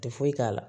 Tɛ foyi k'a la